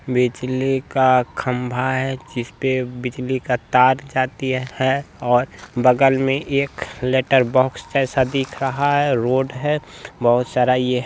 बिजली का खम्बा है जिसपे बिजली की तार जाती है और बगल में एक लेटर बॉक्स दिख रहा रहा है रोड है बहुत सारा ये है।